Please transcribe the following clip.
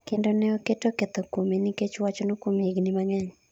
kendo ne oketo ketho kuome nikech wachno kuom higni mang'eny